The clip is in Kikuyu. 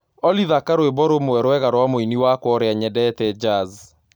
Olly thaka rwĩmbo rũmwe rwega rwa mũĩnĩ wakwa ũrĩa nyendete jazz